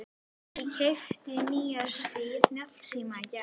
Ég keypti nýjan snjallsíma í gær.